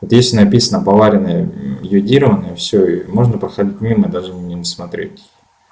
здесь написано поваренная йодированная всё можно проходить мимо и даже на неё не смотреть